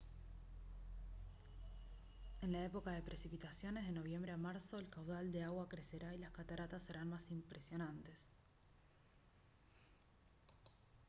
en época de precipitaciones de noviembre a marzo el caudal de agua crecerá y las cataratas serán más impresionantes